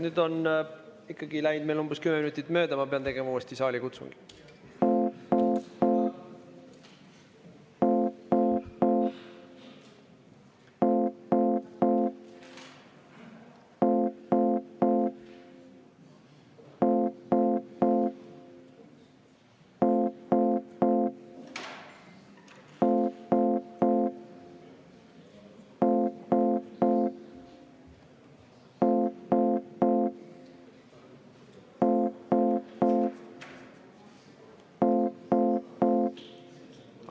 Nüüd on läinud meil umbes kümme minutit mööda ja ma pean tegema uuesti saalikutsungi.